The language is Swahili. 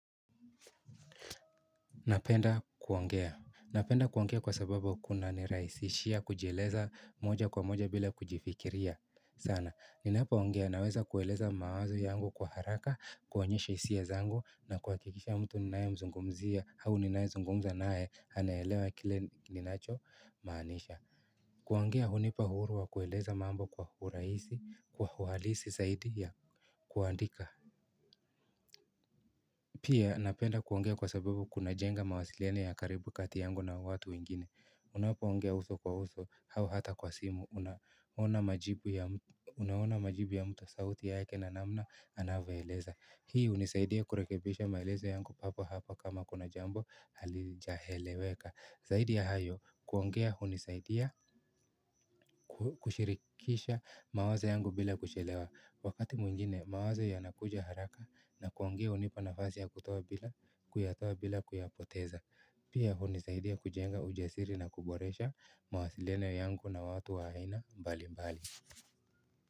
Napenda kuongea, napenda kuongea kwa sababu kunanirahisishia kujieleza moja kwa moja bila kujifikiria sana, ninapo ongea naweza kueleza mawazo yangu kwa haraka, kuonyesha hisia zangu na kuhakikisha mtu ninaye mzungumzia au ninaye zungumza naye anaelewa kile ninacho maanisha kuongea hunipa uhuru wa kueleza mambo kwa urahisi kwa uhalisi zaidi ya kuandika. Pia napenda kuongea kwa sababu kunajenga mawasiliano ya karibu kati yangu na watu wengine. Unapo ongea uso kwa uso au hata kwa simu unaona majibu. Unaona majibu ya mtu sauti ya heke na namna anavaeleza. Hii hunisaidia kurekebisha maelezo yangu papo hapo kama kuna jambo halijaeleweka. Zaidi ya hayo kuongea hunisaidia kushirikisha mawazo yangu bila kuchelewa. Wakati mwingine mawazo yanakuja haraka na kuongea hunipa nafasi ya kutoa bila kuyatoa bila kuyapoteza. Pia hunisaidia kujenga ujasiri na kuboresha mawasiliano yangu na watu wa aina mbali mbali.